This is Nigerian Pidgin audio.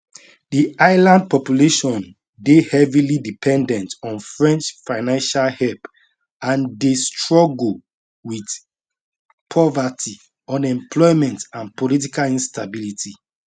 di island population dey heavily dependent on french financial help and dey struggle wit poverty unemployment and political instability